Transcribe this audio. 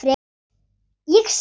Ég svitna.